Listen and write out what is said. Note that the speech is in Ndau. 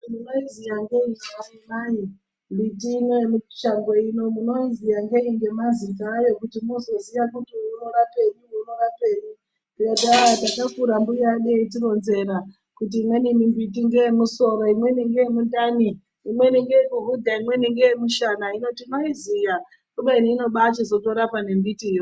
Imi munoiziya ngeiyi imi amai mbiti ino yemushango ino munoiziya ngenyi ngemazita ayo kuti mozoziya kuti uyu unorapei uyu unorapei ndikati aa ndakakira mbuya edu eiitironzera kuti imweni mbiti ngeye musoro, imweni ngeyemumdani , imweni ngeyekuhudha, imweni ngeyemushana hino tinoziya kubeni inobachizotorapa nembitiyo.